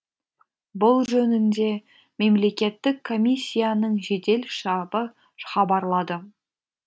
бұл жөнінде мемлекеттік комиссияның жедел штабы хабарлады